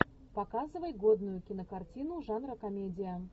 показывай годную кинокартину жанра комедия